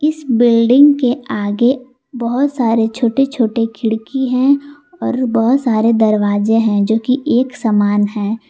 इस बिल्डिंग के आगे बहोत सारे छोटे-छोटे खिड़की हैं और बहोत सारे दरवाजे हैं जोकि एक समान है।